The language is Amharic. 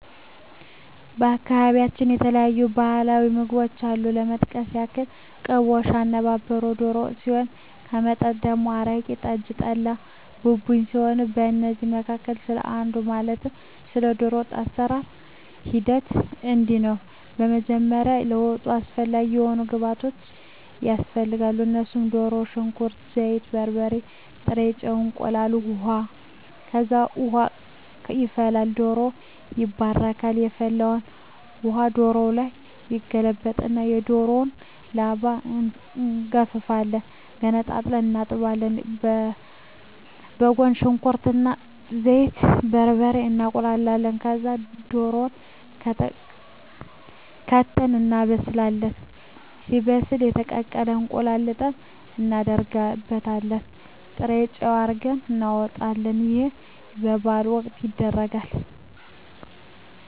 በአካባቢያቸው የተለያዩ ባህላዊ ምግቦች አሉ ለመጥቀስ ያክል ቅቦሽ፣ አነባበሮ፣ ዶሮ ወጥ ሲሆን ከመጠጦች ደግሞ አረቂ፣ ጠጅ፣ ጠላ፣ ቡቡኝ ሲሆኑ ከእነዚህ መካከል ስለ አንዱ ማለትም ስለ ዶሮ ወጥ የአሰራሩ ሂደት እንዲህ ነው በመጀመሪያ ለወጡ አስፈላጊ የሆኑ ግብዓቶች ያስፈልጋሉ እነሱም ድሮ፣ ሽንኩርት፣ ዘይት፣ በርበሬ፣ ጥሬ ጨው፣ እንቁላል፣ ውሀ፣ ከዛ ውሃ ይፈላል ዶሮው ይባረካል የፈላውን ውሀ ዶሮው ላይ ይገለበጣል እና የዶሮውን ላባ እንጋፍፋለን ገነጣጥለን እናጥባለን በጎን ሽንኩርት እና ዘይቱን፣ በርበሬውን እናቁላላለን ከዛ ድሮውን ከተን እናበስላለን ሲበስልልን የተቀቀለ እንቁላል ልጠን እናረግበታለን ጥሬጨው አርገን እናወጣለን ይህ በበዓል ወቅት ይደረጋል።